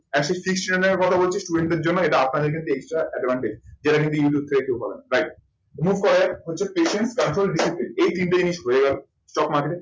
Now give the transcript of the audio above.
একশ ত্রিশ টাকা নেয়ার কথা বলছি, student এর জন্য। এটা আপনাদের কিন্তু extra advantage যেটা কিন্তু হবে না। right remove করে হচ্ছে patient তার পরে disciplined এই তিনটে জিনিস হয়ে গেল stock market এর।